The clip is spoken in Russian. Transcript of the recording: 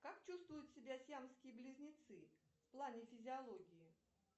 как чувствуют себя сиамские близнецы в плане физиологии